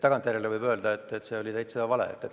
Tagantjärele võib öelda, et see oli täiesti vale.